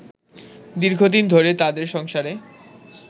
দীর্ঘদিন ধরে তাদের সংসারে